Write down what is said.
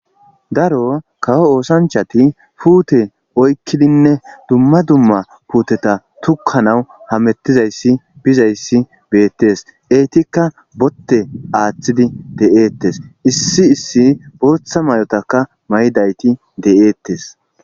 daro kawo oosanchati puute oykkidinne dumma dumma puuteta tokkanawu hamettizayssi bizayssi beettes eetikka botte aaththidi de'eettes issi issi booththa mayotaka maydayti de'eettes